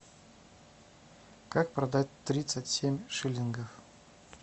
как продать тридцать семь шиллингов